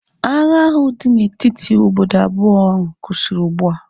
Agha ahu dị na etiti obodo abụọ ahu kwụsịrị ugbua